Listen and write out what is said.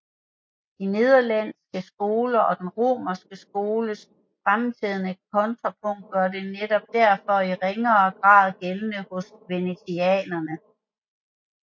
De nederlandske skolers og den romerske skoles fremtrædende kontrapunktik gør sig derfor netop i ringere grad gældende hos venetianerne